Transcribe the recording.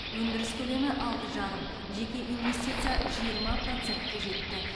өндіріс көлемі алты жарым жеке инвестиция жиырма процентке жетті